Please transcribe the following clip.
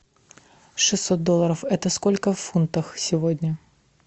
шестьсот долларов это сколько в фунтах сегодня